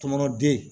Tɔɔnɔ den